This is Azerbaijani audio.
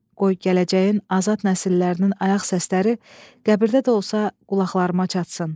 Qoy gələcəyin azad nəsillərinin ayaq səsləri qəbirdə də olsa qulaqlarıma çatsın.